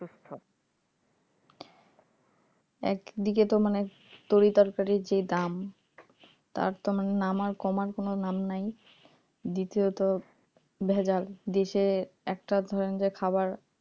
একদিকে তো মানে তরি তরকারির যেই দাম তার তো মানে নামার কমার কোন নাম নাই দ্বিতীয়ত ভেজাল দিচ্ছে একটা ধরেন যে খাবার